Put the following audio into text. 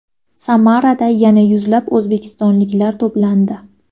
Samarada yana yuzlab o‘zbekistonliklar to‘plandi.